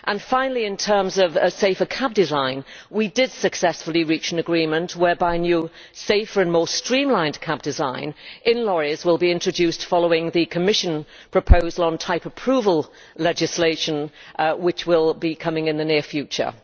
Finally, in terms of safer cab design, we did successfully reach an agreement whereby new, safer and more streamlined cab design in lorries will be introduced following the Commission proposal on type approval legislation which will be coming in the near future.